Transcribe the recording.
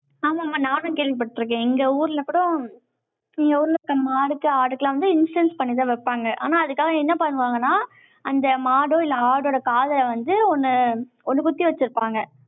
ஆமாம்மா. நானும் கேள்விப்பட்டிருக்கேன். எங்க ஊர்ல கூட, எங்க ஊர்ல இருக்க மாடுக்கு, ஆடுக்கு எல்லாம் வந்து, instance பண்ணிதான் வைப்பாங்க. ஆனா, அதுக்காக, என்ன பண்ணுவாங்கன்னா, அந்த மாடோ, இல்லை, ஆடோட காதுல வந்து, ஒண்ணு, ஒண்ணு குத்தி வச்சிருப்பாங்க.